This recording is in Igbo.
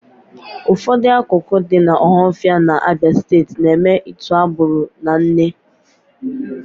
Ụfọdụ akụkụ dị n'Ọhafịa n'Abịa Steeti na-eme ịtụ agbụrụ na nne